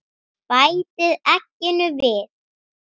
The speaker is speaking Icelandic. Bætið egginu við.